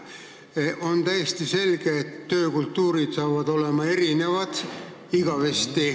On täiesti selge, et töökultuur hakkab igavesti olema erinev.